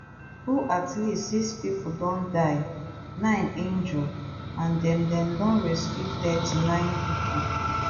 whoat least six pipo don die nine injure and dem dem don rescue thirty-nine pipo